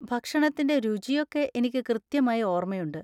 ഭക്ഷണത്തിൻ്റെ രുചിയൊക്കെ എനിക്ക് കൃത്യമായി ഓർമയുണ്ട്.